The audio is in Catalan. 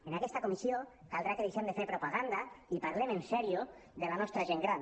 en aquesta comissió caldrà que deixem de fer propaganda i parlem seriosament de la nostra gent gran